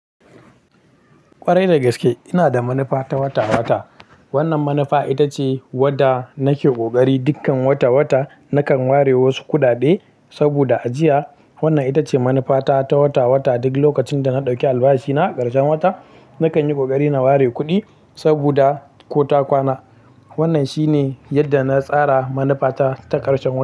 Ƙwarai da gaske ina da manufa ta wata-wata. Wannan manufa ita ce wadda nake ƙoƙari dukkan wata-wata nakan ware wasu kuɗaɗe saboda ajiya. Wannan ita ce manufa ta ta wata-wata. Duk lokacin da na ɗauki albashi na karshen wata, nakan yi ƙoƙari na ware kuɗi saboda ko ta kwana. Wannan shi ne yadda na tsara manufa ta ta karshen wata.